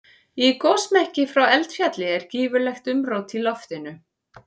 Í gosmekki frá eldfjalli er gífurlegt umrót í loftinu.